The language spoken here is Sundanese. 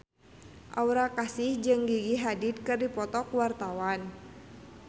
Aura Kasih jeung Gigi Hadid keur dipoto ku wartawan